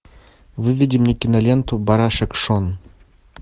выведи мне киноленту барашек шон